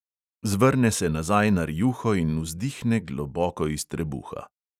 Zvrne se nazaj na rjuho in vzdihne globoko iz trebuha.